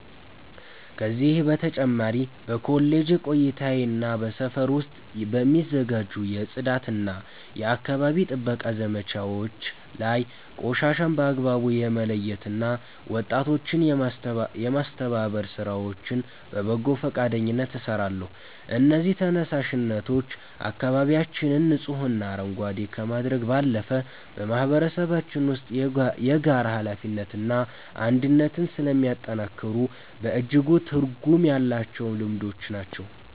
ከዚህ በተጨማሪ በኮሌጅ ቆይታዬና በሰፈር ውስጥ በሚዘጋጁ የጽዳትና የአካባቢ ጥበቃ ዘመቻዎች ላይ ቆሻሻን በአግባቡ የመለየትና ወጣቶችን የማስተባበር ሥራዎችን በበጎ ፈቃደኝነት እሰራለሁ። እነዚህ ተነሳሽነቶች አካባቢያችንን ንጹህና አረንጓዴ ከማድረግ ባለፈ፣ በማህበረሰባችን ውስጥ የጋራ ኃላፊነትንና አንድነትን ስለሚያጠናክሩ በእጅጉ ትርጉም ያላቸው ልምዶች ናቸው።